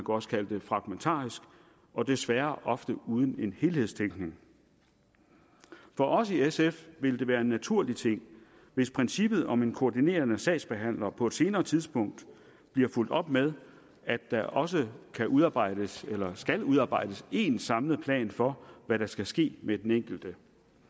også kalde det fragmentarisk og desværre ofte uden en helhedstænkning for os i sf vil det være en naturlig ting hvis princippet om en koordinerende sagsbehandler på et senere tidspunkt bliver fulgt op med at der også kan udarbejdes eller skal udarbejdes én samlet plan for hvad der skal ske med den enkelte